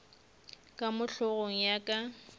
ka mo hlogong ya ka